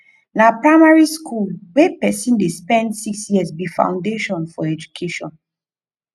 na primary skool wey pesin dey spend six years be foundation for educattion